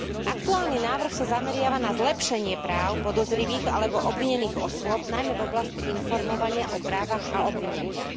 Aktuálny návrh sa zameriava na zlepšenie práv podozrivých alebo obvinených osôb, najmä v oblasti informovania o právach a obvineniach.